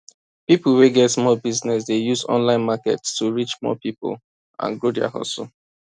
people wey get small business dey use online market to reach more people and grow their hustle